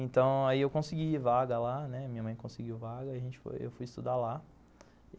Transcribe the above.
Então, aí eu consegui vaga lá, né, minha mãe conseguiu vaga, eu fui estudar lá.